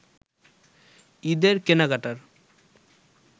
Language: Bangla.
ঈদের কেনাকাটার